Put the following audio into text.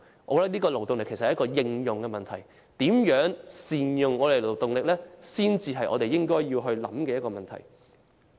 我認為勞動力其實是應用問題，如何善用勞動力才是應該思考的問題。